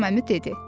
Bayram əmi dedi: